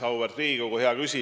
Auväärt Riigikogu!